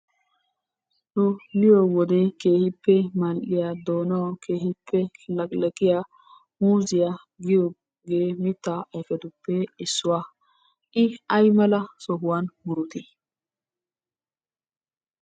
Nu miyo wode keehippe mal'iya doonawu keehippe laqilaqiya muziya giyogee mittaa ayifetuppe issuwa. I ayimala sohuwan murutii?